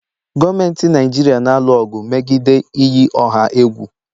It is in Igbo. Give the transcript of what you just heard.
Gọọmentị Naijiria na-alụ ọgụ megide iyi ọha egwu